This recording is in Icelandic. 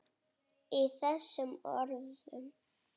Í þessum orðum